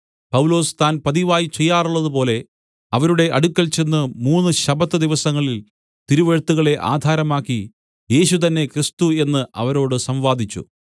പൗലൊസ് താൻ പതിവായി ചെയ്യാറുള്ളതുപോലെ അവരുടെ അടുക്കൽ ചെന്ന് മൂന്നു ശബ്ബത്ത് ദിവസങ്ങളിൽ തിരുവെഴുത്തുകളെ ആധാരമാക്കി യേശു തന്നെ ക്രിസ്തു എന്ന് അവരോട് സംവാദിച്ചു